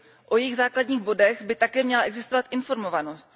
O jejich základních bodech by také měla existovat informovanost.